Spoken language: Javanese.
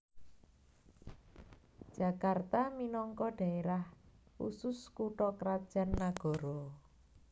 Jakarta minangka dhaérah khusus kutha krajan nagara